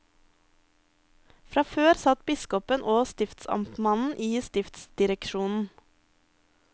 Fra før satt biskopen og stiftsamtmannen i stiftsdireksjonen.